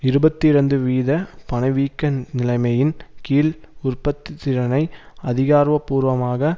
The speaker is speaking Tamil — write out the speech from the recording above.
இருபத்தி இரண்டு வீத பணவீக்க நிலைமையின் கீழ் உற்பத்தி திறனை அதிகார்வப்பூர்வமாக